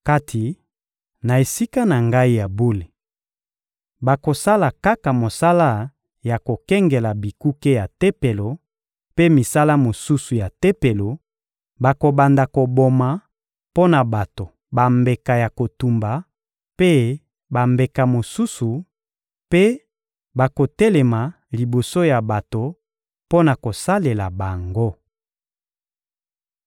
Kati na Esika na Ngai ya bule, bakosala kaka mosala ya kokengela bikuke ya Tempelo mpe misala mosusu ya Tempelo; bakobanda koboma mpo na bato bambeka ya kotumba mpe bambeka mosusu mpe bakotelema liboso ya bato mpo na kosalela bango.